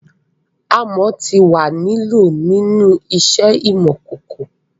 Amọ ti wà ni lọ̀ ninu iṣẹ imọ-kọkọ